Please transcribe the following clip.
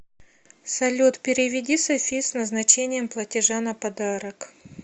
салют переведи софи с назначением платежа на подарок